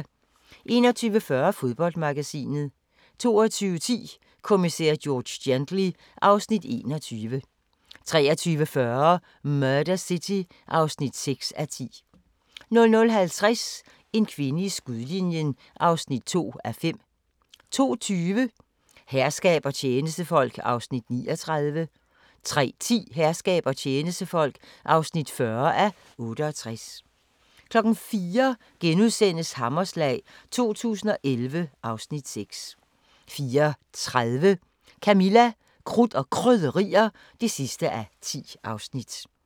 21:40: Fodboldmagasinet 22:10: Kommissær George Gently (Afs. 21) 23:40: Murder City (6:10) 00:50: En kvinde i skudlinjen (2:5) 02:20: Herskab og tjenestefolk (39:68) 03:10: Herskab og tjenestefolk (40:68) 04:00: Hammerslag 2011 (Afs. 6)* 04:30: Camilla – Krudt og Krydderier (10:10)